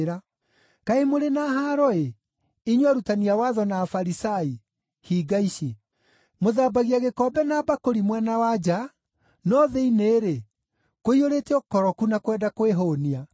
“Kaĩ mũrĩ na haaro-ĩ, inyuĩ arutani a watho na Afarisai, hinga ici! Mũthambagia gĩkombe na mbakũri mwena wa nja, no thĩinĩ-rĩ, kũiyũrĩte ũkoroku na kwenda kwĩhũũnia.